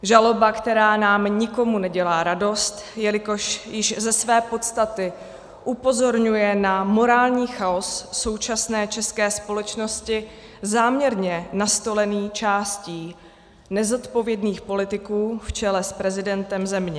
Žaloba, která nám nikomu nedělá radost, jelikož již ze své podstaty upozorňuje na morální chaos současné české společnosti, záměrně nastolený částí nezodpovědných politiků v čele s prezidentem země.